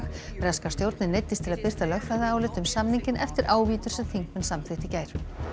breska stjórnin neyddist til að birta lögfræðiálit um samninginn eftir ávítur sem þingmenn samþykktu í gær